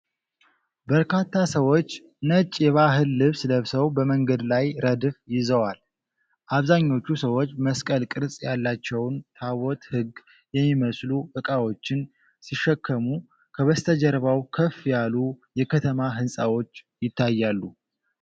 በርካታ ሰዎች ነጭ የባህል ልብስ ለብሰው በመንገድ ላይ ረድፍ ይዘዋል። አብዛኞቹ ሰዎች መስቀል ቅርጽ ያላቸውን ታቦተ ሕግ የሚመስሉ ዕቃዎች ሲሸከሙ፣ ከበስተጀርባው ከፍ ያሉ የከተማ ሕንፃዎች ይታያሉ።